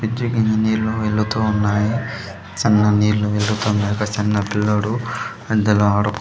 bridge కింద నీళ్లు వెళ్ళుతూ ఉన్నాయి సన్న నీళ్లు వెళ్ళుతున్నాయి ఒక చిన్న పిల్లోడు అందులో ఆడు --